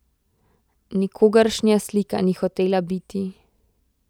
Nikogaršnja slika ni hotela biti.